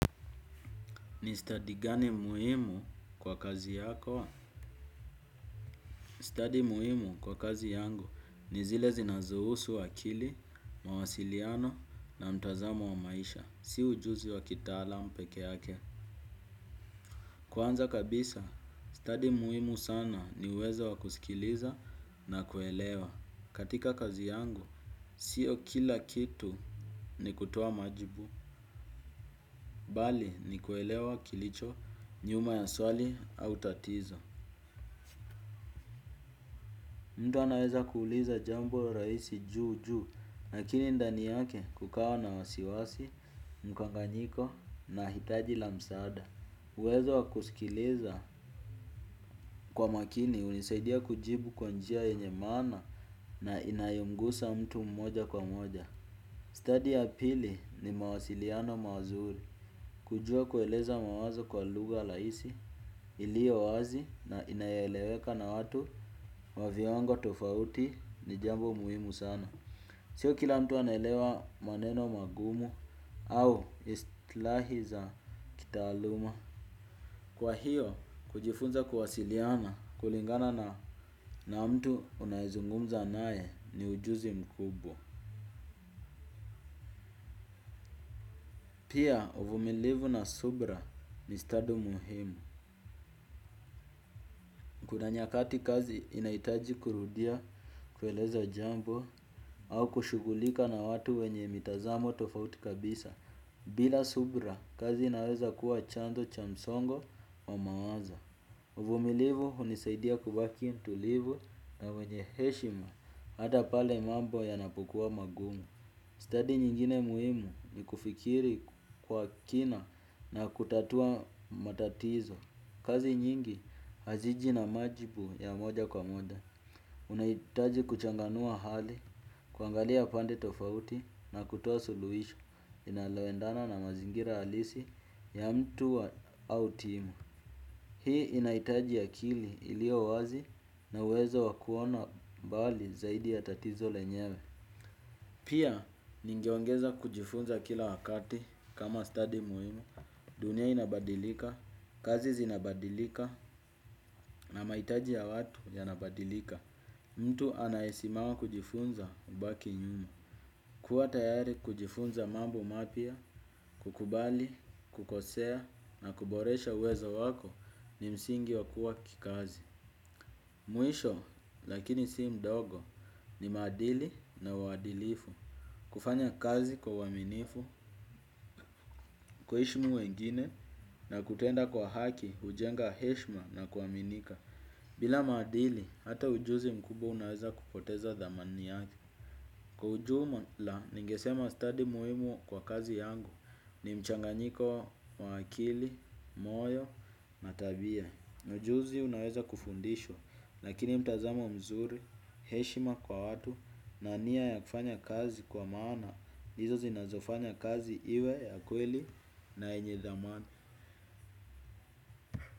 Ni stadi gani muhimu kwa kazi yako? Stadi muhimu kwa kazi yangu ni zile zinazohusu akili, mawasiliano na mtazamo wa maisha. Si ujuzi wa kitaalam pekee yake. Kwanza kabisa, stadi muhimu sana ni uwezo wa kusikiliza na kuelewa. Katika kazi yangu, sio kila kitu ni kutoa majibu. Bali ni kuelewa kilicho nyuma ya swali au tatizo. Mtu anaweza kuuliza jambo rahisi juu juu, lakini ndani yake kukawa na wasiwasi, mkanganyiko na hitaji la msaada. Uwezo wa kusikiliza kwa makini hunisaidia kujibu kwa njia yenye maana na inayomgusa mtu mmoja kwa mmoja. Stadi ya pili ni mawasiliano mazuri kujua kueleza mawazo kwa lugha rahisi ilio wazi na inayoeleweka na watu wa viwango tofauti ni jambo muhimu sana. Sio kila mtu anaelewa maneno magumu au istlahi za kitaaluma. Kwa hiyo, kujifunza kuwasiliana kulingana na mtu unayezungumza nae ni ujuzi mkubwa. Pia uvumilivu na subra ni stadi muhimu. Kuna nyakati kazi inahitaji kurudia kueleza jambo au kushughulika na watu wenye mitazamo tofauti kabisa. Bila subra kazi inaweza kuwa chanzo cha msongo wa mawazo. Uvumilivu hunisaidia kubaki tulivu na wenye heshima hata pale mambo yanapokua magumu. Stadi nyingine muhimu ni kufikiri kwa kina na kutatua matatizo. Kazi nyingi haziji na majibu ya moja kwa moja. Unahitaji kuchanganua hali, kuangalia pande tofauti na kutoa suluhisho inaloendana na mazingira halisi ya mtu wa au timu. Hii inahitaji akili ilio wazi na uwezo wa kuona mbali zaidi ya tatizo lenyewe. Pia, ningeongeza kujifunza kila wakati kama stadi muhimu, dunia inabadilika, kazi zinabadilika na mahitaji ya watu yanabadilika. Mtu anayesimama kujifunza hubaki nyuma. Kuwa tayari kujifunza mambo mapya, kukubali, kukosea na kuboresha uwezo wako ni msingi wa kuwa kikazi. Mwisho lakini si mdogo ni maadili na uadilifu. Kufanya kazi kwa uaminifu, kuheshimu wengine na kutenda kwa haki hujenga heshima na kuaminika. Bila maadili hata ujuzi mkubwa unaweza kupoteza thamani yake. Kwa ujumla ningesema stadi muhimu kwa kazi yangu ni mchanganyiko wa akili, moyo na tabia. Ujuzi unaweza kufundishwa, lakini mtazamo mzuri, heshima kwa watu, na nia ya kufanya kazi kwa maana, ndizo zinazofanya kazi iwe ya kweli na yenye thamani.